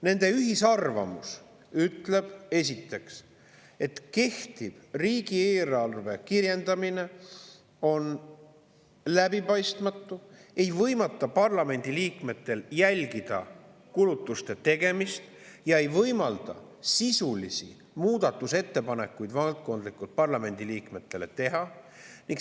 Nende ühine arvamus ütleb, et kehtiv riigieelarve kirjeldamine on läbipaistmatu, see ei võimalda parlamendiliikmetel jälgida kulutuste tegemist ja see ei võimalda neil teha sisulisi valdkondlikke muudatusettepanekuid.